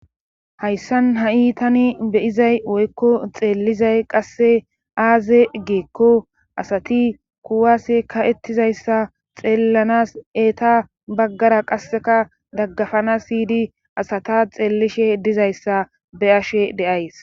Hayssan ha iitani beyizay woykko xeellizay qasse aaze geekko asati kuwase ka'ettizayssa xeellanas eeta baggara qasseka daggafana siydi asata xeellishe dizayssa be ashe deays.